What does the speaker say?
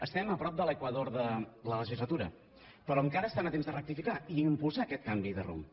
estem a prop de l’equador de la legislatura però encara estan a temps de rectificar i impulsar aquest canvi de rumb